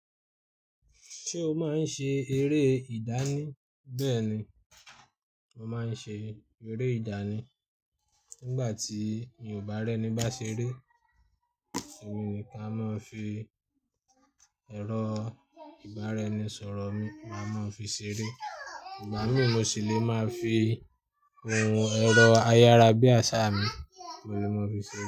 Ṣé o máa ń ṣe eré ìdánì? Bẹ́ẹ̀ni, mo máa ń ṣe eré ìdánì. Nígbà tí mi o ba r'ẹ́ni bá ṣeré, èmi nìkan a maa fi ẹ̀rọ ìbára ẹni sọ̀rọ̀ mi máa ma fi ṣeré. Ìgbà míi, mo ṣì lè máa fi ohun ẹ̀rọ ayárabíàsá mi mo lè máa fi ṣeré.